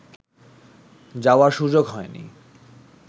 যাওয়ার সুযোগ হয়নি